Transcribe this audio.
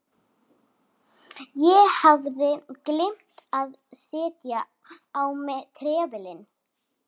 Ég hafði gleymt að setja á mig trefilinn.